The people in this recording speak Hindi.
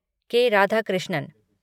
के. राधाकृष्णन